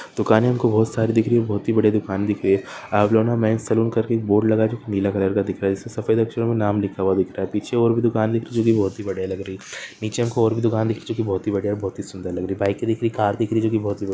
'' दुकाने हमको बहुत सारी दिख रही बहुत ही बढीया दुकान दिख रही है अवलोन मेन्स सैलून कर के एक बोर्ड लगाया जो नीला कलर का दिख रहा है सफेद अक्षरो मे नाम लिखा हुआ दिख रहा है पीछे और भी दुकान दिख रही वो भी बहुत ही बढीया लग रही है नीचे और भी दुकान दिख चुकी बहोत ही बढीया बहुत ही सुंदर लग रही बाइके दिख रही कार दिख रही जो की --''